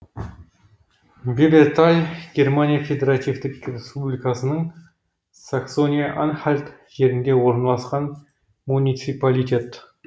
беберталь германия федеративтік республикасының саксония анхальт жерінде орналасқан муниципалитет